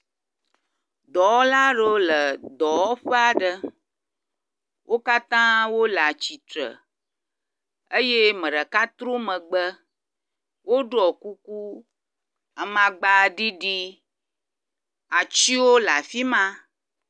Dɔwɔla ɖewo le dɔwɔƒe aɖe. Wo katã wo le atsitre eye me ɖeka trɔ megbe woɖɔ kuku amagba ɖiɖi. Atiwo le afi ma.